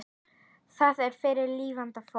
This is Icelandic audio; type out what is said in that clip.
Það er fyrir lifandi fólk.